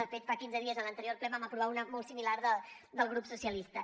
de fet fa quinze dies en l’anterior ple en vam aprovar una molt similar del grup socialistes